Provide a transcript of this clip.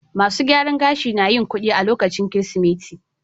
Masun gyaran gashi na yin kudi lokacin Kirsimeti.